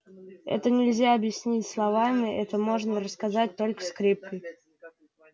это нельзя объяснить словами это можно рассказать только скрипкой